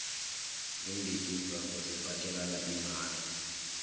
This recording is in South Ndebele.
imbikimvango zifakelana imali